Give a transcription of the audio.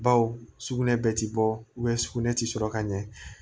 Baw sugunɛ bɛ ti bɔ sugunɛ ti sɔrɔ ka ɲɛ